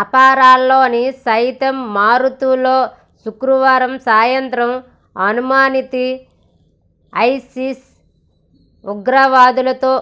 అంపారాలోని సైంతమరుథులో శుక్రవారం సాయంత్రం అనుమానిత ఐసిస్ ఉగ్రవాదులతో